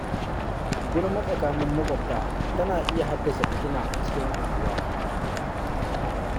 Gulma tsakanin maƙwabta tana iya haddasa fitina a cikin unguwa.